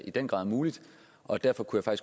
i den grad er muligt og derfor kunne jeg